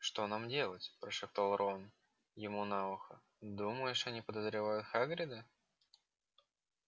что нам делать прошептал рон ему на ухо думаешь они подозревают хагрида